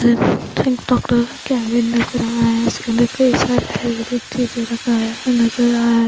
एक डॉक्टर का केबिन नजर आ रहा है उसके अंदर कई सारेिक चीजें रखा है नजर आ रहा है--